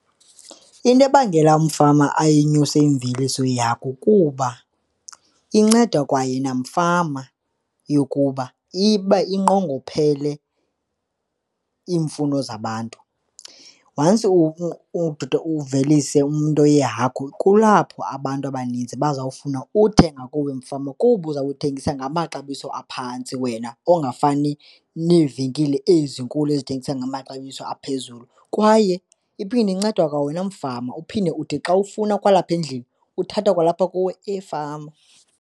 Into ebangela umfama ayenyuse imveliso yakho kuba inceda kwayena umfama yokuba iba inqongophele iimfuno zabantu. Once umdudo uvelise umntu yehagu kulapho abantu abaninzi bazawufuna uthenga kuwe mfama kuba uzawube uthengisa ngamaxabiso aphantsi wena, ongafani neevenkile ezinkulu ezithengisa ngamaxabiso aphezulu. Kwaye iphinde inceda kwawena mfama, uphinde ude xa ufuna kwalapha endlini uthatha kwalapha kuwe efama.